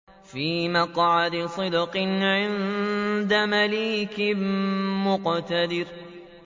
فِي مَقْعَدِ صِدْقٍ عِندَ مَلِيكٍ مُّقْتَدِرٍ